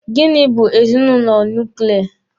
Gini bụ ezinụlọ nuklia?